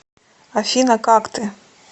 афина как ты